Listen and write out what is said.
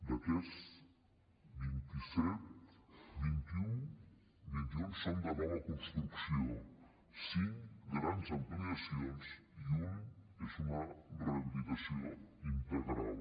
d’aquests vint i set vint i un són de nova construcció cinc grans ampliacions i un és una rehabilitació integral